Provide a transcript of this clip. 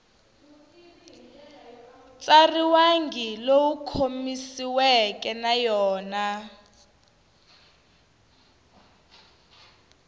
tsariwangi lowu khomanisiweke na yona